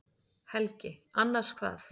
Helgi: Annars hvað?